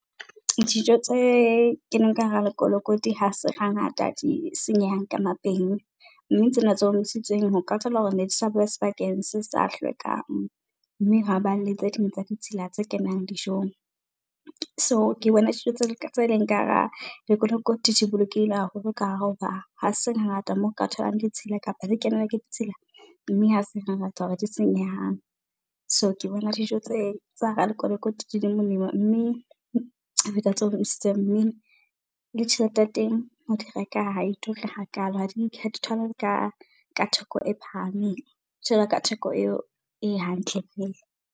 Dijo tse keneng ka hara lekolokoti ha se hangata di senyehang ka , mme tsena tse omisitsweng ho ka thola hore ne di sa bewa sebakeng se sa hlwekang, mme hwa ba le tse ding tsa ditshila tse kenang dijong. So ke bona dijo tse leng ka hara lekolokoti di bolokehile haholo ka hare, hoba ha se ngata moo o ka tholang ditshila kapa di kenela ke ditshila mme ha se ngata hore di senyehang. So ke bona dijo tse, tsa lekolokoti di di molemo, mme ho feta tse omisitsweng. Mme, le tjhelete ya teng ho di reka ha e ture hakalo ha di , ha di tholahale ka theko e phahameng jwalo ka theko eo e hantle .